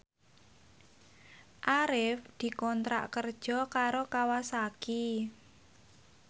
Arif dikontrak kerja karo Kawasaki